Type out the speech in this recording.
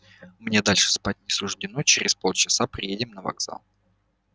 мне дальше спать не суждено через полчаса приедем на вокзал